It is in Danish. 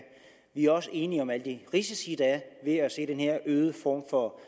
vi er også enige om alle de risici der er ved at se den her øgede form for